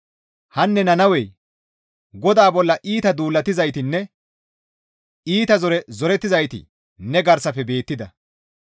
Hanne Nannawe! GODAA bolla iita duulatizaytinne iita zore zorettizayti ne garsafe beettida;